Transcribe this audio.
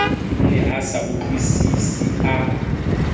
ne a sa utlwisise a